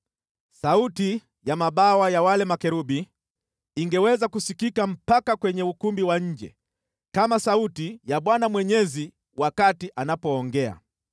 Sauti ya mabawa ya wale makerubi ingeweza kusikika mpaka kwenye ukumbi wa nje, kama sauti ya Mungu Mwenyezi wakati anapoongea.